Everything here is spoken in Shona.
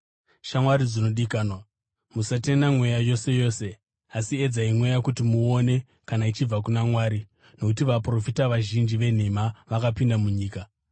Shamwari dzinodikanwa, musatenda mweya yose yose, asi edzai mweya kuti muone kana ichibva kuna Mwari, nokuti vaprofita vazhinji venhema vakapinda munyika.